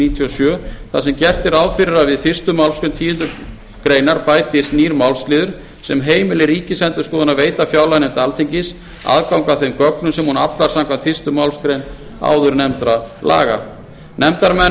níutíu og sjö þar sem gert er ráð fyrir að við fyrstu málsgreinar tíundu grein bætist nýr málsliður sem heimili ríkisendurskoðun að veita fjárlaganefnd alþingis aðgang að þeim gögnum sem hún aflar samkvæmt fyrstu málsgrein áðurnefndra laga nefndarmenn verða